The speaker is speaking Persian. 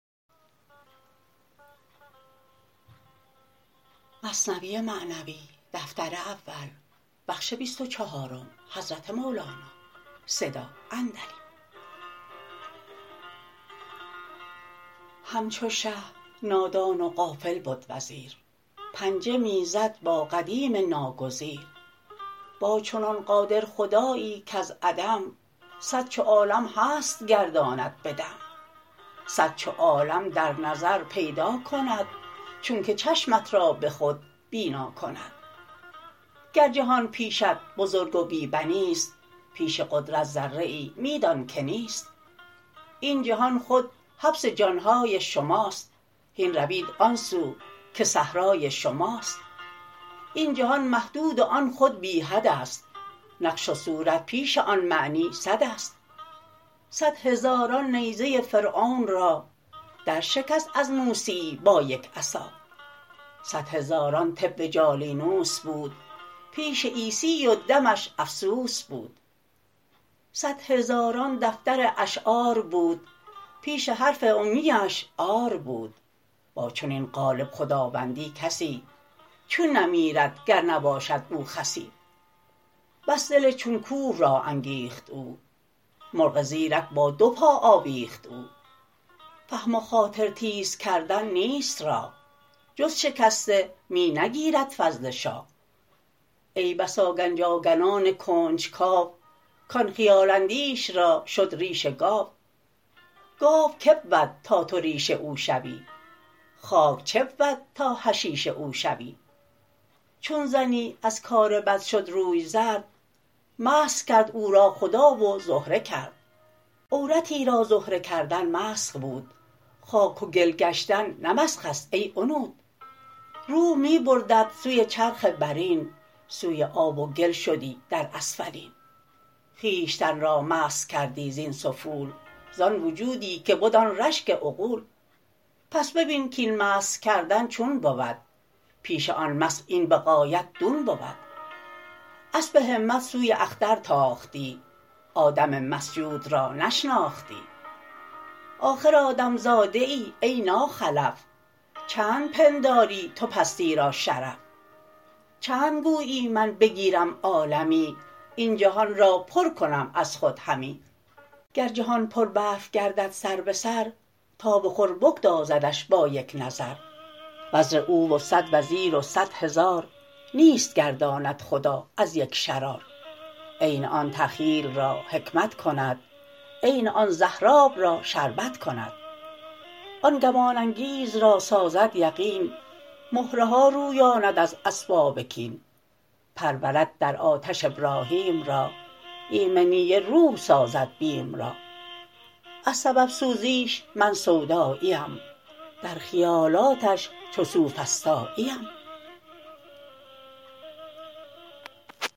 همچو شه نادان و غافل بد وزیر پنجه می زد با قدیم ناگزیر با چنان قادر خدایی کز عدم صد چو عالم هست گرداند بدم صد چو عالم در نظر پیدا کند چونک چشمت را به خود بینا کند گر جهان پیشت بزرگ و بی بنیست پیش قدرت ذره ای می دان که نیست این جهان خود حبس جانهای شماست هین روید آن سو که صحرای شماست این جهان محدود و آن خود بی حدست نقش و صورت پیش آن معنی سدست صد هزاران نیزه فرعون را در شکست از موسیی با یک عصا صد هزاران طب جالینوس بود پیش عیسی و دمش افسوس بود صد هزاران دفتر اشعار بود پیش حرف امیی اش عار بود با چنین غالب خداوندی کسی چون نمیرد گر نباشد او خسی بس دل چون کوه را انگیخت او مرغ زیرک با دو پا آویخت او فهم و خاطر تیز کردن نیست راه جز شکسته می نگیرد فضل شاه ای بسا گنج آگنان کنج کاو کان خیال اندیش را شد ریش گاو گاو که بود تا تو ریش او شوی خاک چه بود تا حشیش او شوی چون زنی از کار بد شد روی زرد مسخ کرد او را خدا و زهره کرد عورتی را زهره کردن مسخ بود خاک و گل گشتن نه مسخست ای عنود روح می بردت سوی چرخ برین سوی آب و گل شدی در اسفلین خویشتن را مسخ کردی زین سفول زان وجودی که بد آن رشک عقول پس ببین کین مسخ کردن چون بود پیش آن مسخ این به غایت دون بود اسپ همت سوی اختر تاختی آدم مسجود را نشناختی آخر آدم زاده ای ای ناخلف چند پنداری تو پستی را شرف چند گویی من بگیرم عالمی این جهان را پر کنم از خود همی گر جهان پر برف گردد سربسر تاب خور بگدازدش با یک نظر وزر او و صد وزیر و صدهزار نیست گرداند خدا از یک شرار عین آن تخییل را حکمت کند عین آن زهراب را شربت کند آن گمان انگیز را سازد یقین مهرها رویاند از اسباب کین پرورد در آتش ابراهیم را ایمنی روح سازد بیم را از سبب سوزیش من سوداییم در خیالاتش چو سوفسطاییم